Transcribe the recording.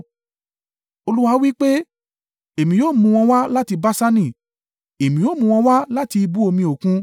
Olúwa wí pé, “Èmi ó mú wọn wá láti Baṣani; èmi ó mú wọn wá láti ibú omi Òkun,